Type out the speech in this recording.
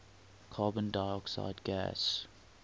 carbon dioxide gas